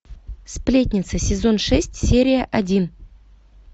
сплетница сезон шесть серия один